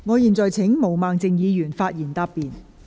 我現在請毛孟靜議員發言答辯。